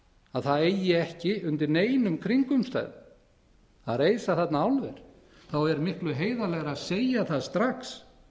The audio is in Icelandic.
að það eigi ekki undir neinum kringumstæðum að reisa þarna álver þá er miklu heiðarlegra að segja það strax